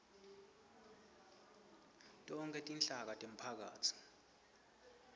tonkhe tinhlaka temphakatsi